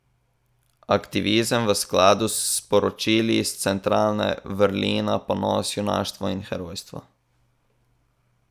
Aktivizem v skladu s sporočili centrale pa vrlina, ponos, junaštvo in herojstvo.